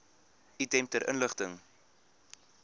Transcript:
item ter inligting